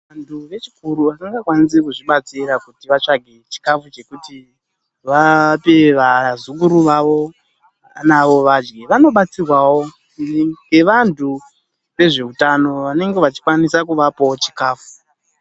Vantu vechikuru vanokwanisa kuzvibatsira kuti vatsvage chikafu chekuti vape vazukuru vavo kuti vadye. Vanobatsirwawo ngevantu vezveutano vanenge vachikwanisa kuvapawo chikafu.